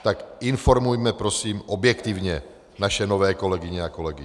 Tak informujme prosím objektivně naše nové kolegyně a kolegy.